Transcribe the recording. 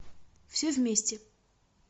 все вместе